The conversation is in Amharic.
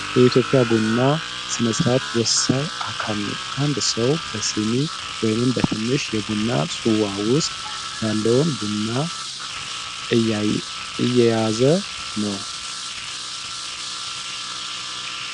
የኢትዮጵያ ቡና ሥነ-ሥርዓት ወሳኝ አካል ነው ። አንድ ሰው በሲኒ ወይም በትንሽ የቡና ጽዋ ውስጥ ያለውን ቡና እየያዘ ነው ።